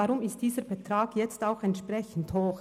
Deshalb ist dieser Betrag jetzt entsprechend hoch.